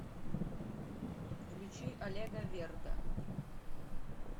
включи олега верда